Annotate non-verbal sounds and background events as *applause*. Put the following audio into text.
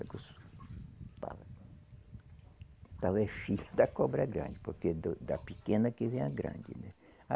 *unintelligible* filho da cobra grande, porque da pequena que vem a grande, né?